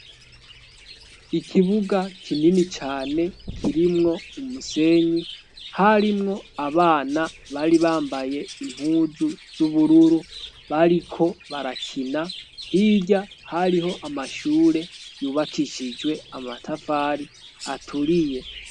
Ikibuga kinini cane kirimwo umusenyi, harimwo abana bari bambaye impuzu z'ubururu bariko barakina, hirya hariho amashure yubakishijwe amatafari aturiye.